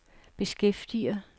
beskæftiger